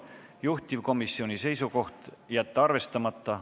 Juhtivkomisjoni seisukoht: jätta arvestamata.